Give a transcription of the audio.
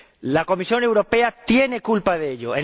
La Comisión Europea tiene culpa de ello.